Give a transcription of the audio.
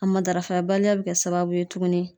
A ma darafa baliya be kɛ sababu ye tuguni